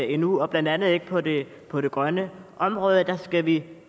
endnu blandt andet ikke på det på det grønne område for der skal vi